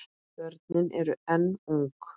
Börnin eru enn ung.